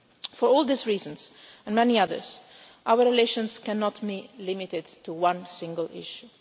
interests. For all these reasons and many others, our relations cannot be limited to one single